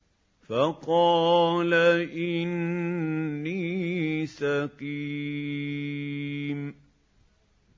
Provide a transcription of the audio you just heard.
فَقَالَ إِنِّي سَقِيمٌ